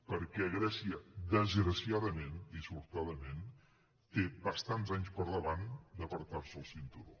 perquè grècia desgraciadament dissortadament té bastants anys per davant d’ apretar se el cinturó